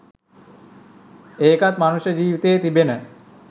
ඒකත් මනුෂ්‍ය ජීවිතයේ තිබෙන